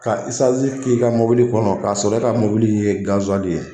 Ka isansi k'e ka mobili kɔnɔ k'a sɔrɔ e ka mobili in ye gaziwali ye